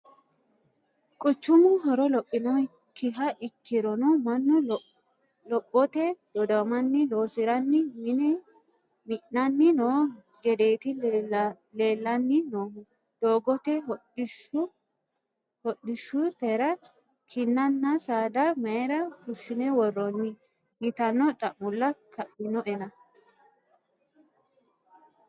Quchumu horo lophinokkiha ikkirono mannu lophote dodamanni loosiranni mine mi'nanni no gedeti leellanni noohunna doogote hodhishshutera kinanna saada mayra fushine worooni yitano xa'molla kainoenna.